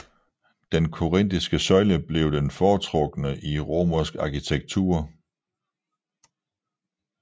Den korintiske søjle blev den foretrukne i romersk arkitektur